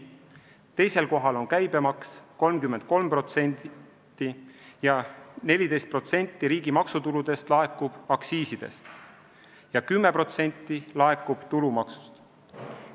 Teisel kohal on käibemaks – 33% – ja 14% riigi maksutuludest laekub aktsiisidest, 10% laekub tulumaksust.